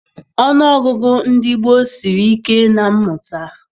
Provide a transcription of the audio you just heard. Ọnụọgụgụ ndị gboo siri ike na mmụta.